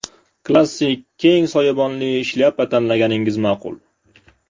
Klassik keng soyabonli shlyapa tanlaganingiz ma’qul.